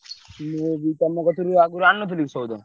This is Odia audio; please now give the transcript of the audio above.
ମୁଁ ବି ତମ କତିରୁ ଆଗୁରୁ ଆଣୁନଥିଲି ସଉଦା?